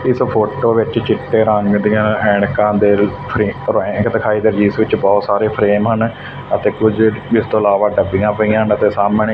ਇਸ ਫੋਟੋ ਵਿੱਚ ਚਿੱਟੇ ਰੰਗ ਦੀਆਂ ਐਨਕਾਂ ਦੇ ਫਰੇਮ ਐਣਕਾਂ ਦਿਖਾਈਆਂ ਜਿਸ ਦੇ ਵਿੱਚ ਬਹੁਤ ਸਾਰੇ ਫਰੇਮ ਹਨ ਤੇ ਕੁਝ ਇਸ ਤੋਂ ਇਲਾਵਾ ਡੱਬੀਆਂ ਪਈਆਂ ਅਤੇ ਸਾਹਮਣੇ--